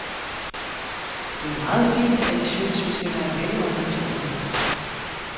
Det er meget fint, at I synes, vi skal være velorienterede.